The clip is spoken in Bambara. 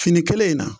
Fini kelen in na